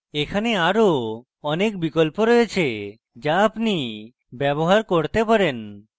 এখানে আরো অনেক বিকল্প রয়েছে যা আপনি ব্যবহার করতে পারেন